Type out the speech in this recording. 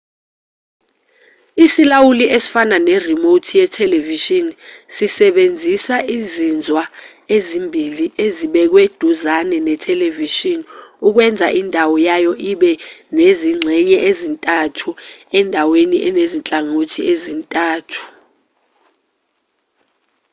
isilawuli esifana ne-remote yethelevishini sisebenzisa izinzwa ezimbili ezibekwe duzane nethelevishini ukwenza indawo yayo ibe nezingxenye ezintathu endaweni enezinhlangothi ezintathu